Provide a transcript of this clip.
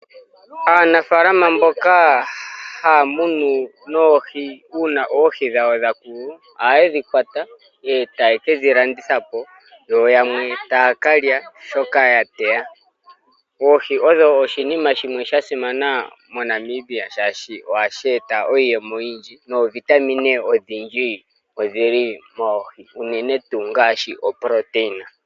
Aanafaalama mboka haya munu noohi uuna oohi dhawo dha koko, ohaye dhi kwata e taye kedhi landitha po. Yo yamwe taya kalya shoka ya teya. Oohi odho oshinima shimwe sha simana moNamibia shaashi ohashi eta iiyemo oyindji, noovitamine odhindji odhili moohi unenetuu ngaashi oproteina.